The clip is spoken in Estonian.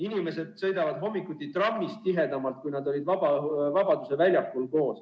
Inimesed sõidavad hommikuti trammis tihedamalt koos, kui ollakse Vabaduse väljakul.